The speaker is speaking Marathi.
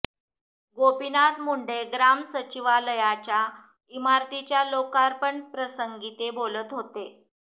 गोपीनाथ मुंडे ग्राम सचिवालयाच्या इमारतीच्या लोकार्पण प्रसंगी ते बोलत होते